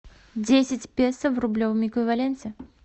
десять песо в рублевом эквиваленте